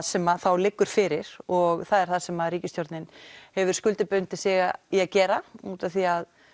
sem liggur fyrir og það er það sem ríkisstjórnin hefur skuldbundið sig í að gera útaf því að